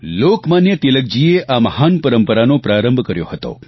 લોકમાન્ય તિલકજીએ આ મહાન પરંપરાનો પ્રારંભ કર્યો હતો